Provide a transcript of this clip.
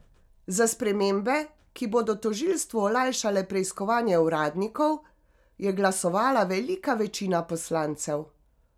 Za spremembe, ki bodo tožilstvu olajšale preiskovanje uradnikov, je glasovala velika večina poslancev.